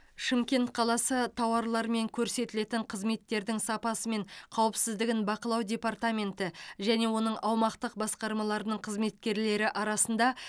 шымкент қаласы тауарлар мен көрсетілетін қызметтердің сапасы мен қауіпсіздігін бақылау департаменті және оның аумақтық басқармаларының қызметкерлері арасында